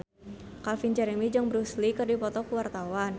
Calvin Jeremy jeung Bruce Lee keur dipoto ku wartawan